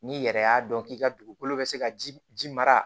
N'i yɛrɛ y'a dɔn k'i ka dugukolo bɛ se ka ji mara